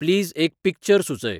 please एक picture सुचय